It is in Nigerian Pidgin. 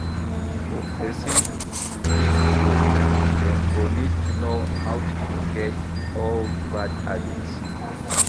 For person to fit grow, dem go need to know how to forget old bad habits